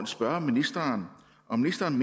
spørge ministeren om ministeren